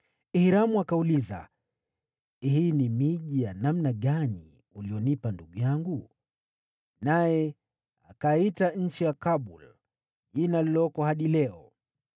Hiramu akauliza, “Hii ni miji ya namna gani uliyonipa, ndugu yangu?” Naye akaiita nchi ya Kabul, jina lililoko hadi leo.